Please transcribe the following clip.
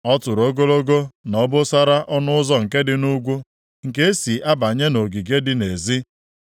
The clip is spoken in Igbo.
Ọ tụrụ ogologo na obosara ọnụ ụzọ nke dị nʼugwu, nke e si abanye nʼogige dị nʼezi.